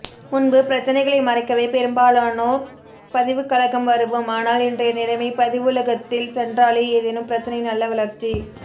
முன்பு பிரச்சினைகளை மறக்கவே பெரும்பாலானோ பதிவுகலகம் வருவோம் ஆனால் இன்றைய நிலைமை பதிவுலகத்தில் சென்றாலே ஏதேனும் பிரச்சினை நல்ல வளர்ச்சி